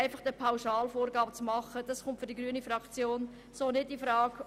Eine solche Vorgabe kommt für die grüne Fraktion nicht in Frage.